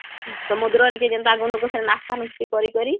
ସମୁଦ୍ର ନିକେ ଯେନ୍ତା ଗ୍ନୁ ସେନୁ ନାଶ୍ତା ନୁଁଉସ୍ଟି କରି କରି